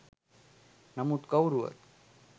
නමුත් කවුරුවත්